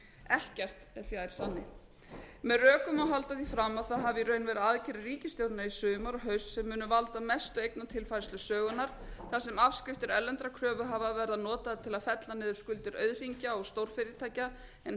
ekkert er fjær sanni með rökum má halda því fram að það hafi í raun verið aðgerðir ríkisstjórnarinnar í sumar og haust sem munu valda mestu eignatilfærslu sögunnar þar sem afskriftir erlendra kröfuhafa verða notaðar til að fella niður skuldir auðhringja og stórfyrirtækja en